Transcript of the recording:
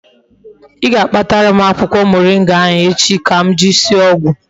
I ga-akpatara m akwukwo moringa echi ka m jiri sie ogwu